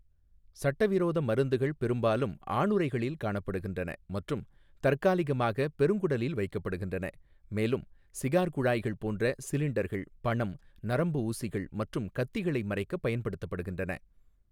சட்டவிரோத மருந்துகள் பெரும்பாலும் ஆணுறைகளில் காணப்படுகின்றன மற்றும் தற்காலிகமாக பெருங்குடலில் வைக்கப்படுகின்றன, மேலும் சிகார் குழாய்கள் போன்ற சிலிண்டர்கள் பணம், நரம்பு ஊசிகள் மற்றும் கத்திகளை மறைக்க பயன்படுத்தப்படுகின்றன.